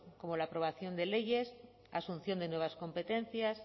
como la aprobación de leyes asunción de nuevas competencias